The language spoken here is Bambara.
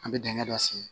An bɛ dingɛ dɔ sen